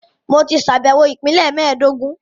Mo ti ṣàbẹ̀wọ̀ Ìpínlẹ̀ mẹ́ẹ̀dógún